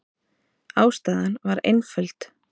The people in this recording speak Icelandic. Ástæðan var einföld.